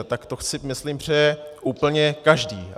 A tak to si myslím přeje úplně každý.